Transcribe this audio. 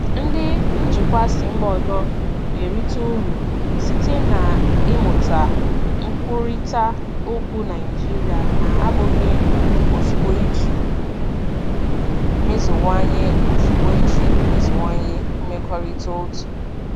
Ndị njikwa si mba ọzọ na-erite uru site n'ịmụta nkwurịta okwu Naịjirịa na-abụghị ozugbo iji meziwanye ozugbo iji meziwanye mmekọrịta otu.